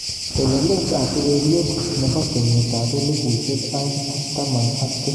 Telelet ab ureriet nebo kenyit ab elipushek aeng ak taman ak tisap ak taman ak sisit komui kimosta age.